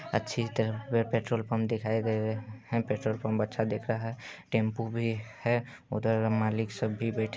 अच्छी तरह पे पेट्रोल पंप दिखाई गया है। पेट्रोल पम्प अच्छा दिख रहा है। टेंपू भी है उधर मालिक सब भी बैठे--